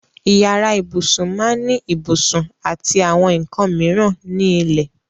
Ìyàrá ìbùṣún máá ní ìbùṣún àti àwọn nkàn míran ní ilẹ̀.